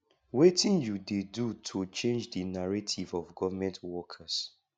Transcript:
wetin you dey do to change di narrative of government workes